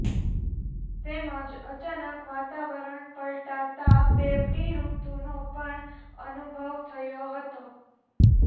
તેમજ અચાનક વાતાવરણ પલટાતા બેવડી ઋતુનો પણ અનુભવ થયો હતો